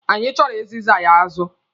Anyị chọrọ izigaara ya azụ.